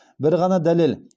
бір ғана дәлел